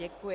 Děkuji.